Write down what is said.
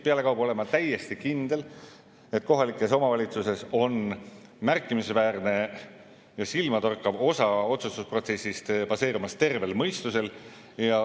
Pealekauba olen ma täiesti kindel, et kohalikes omavalitsustes baseerub märkimisväärne, silmatorkav osa otsustusprotsessist tervel mõistusel.